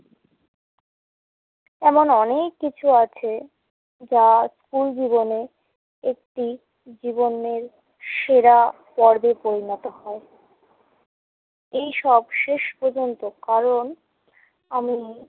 এমন অনেক কিছু আছে যা স্কুল জীবনে একটি জীবনের সেরা পর্বে পরিণত হয়। এইসব শেষ পর্যন্ত কারণ আমি~